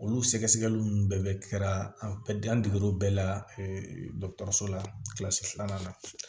Olu sɛgɛsɛgɛli nunnu bɛɛ bɛ kɛra an dege o bɛɛ la dɔgɔtɔrɔso la filanan na